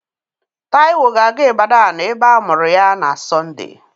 Taiwo ga-aga Ibadanụ ebe a mụrụ ya na Sonde.